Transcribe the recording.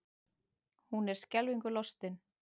Hún er skelfingu lostin.